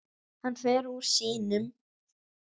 Hann fer úr sínum.